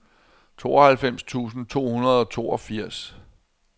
tooghalvfems tusind to hundrede og toogfirs